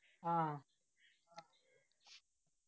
ആ